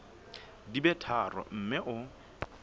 di be tharo mme o